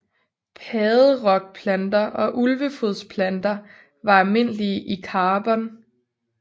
Padderokplanter og ulvefodsplanter var almindelige i Karbon